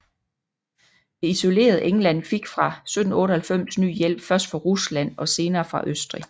Det isolerede England fik fra 1798 ny hjælp først fra Rusland og senere fra Østrig